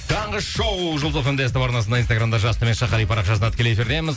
таңғы шоу жұлдыз фм де ств арнасында инстаграмда жас қали парақшасында тікелей эфирдеміз